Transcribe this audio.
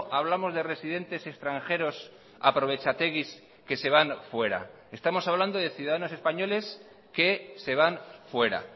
hablamos de residentes extranjeros aprovechateguis que se van fuera estamos hablando de ciudadanos españoles que se van fuera